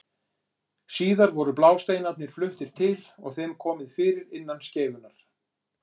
síðar voru blásteinarnir fluttir til og þeim komið fyrir innan skeifunnar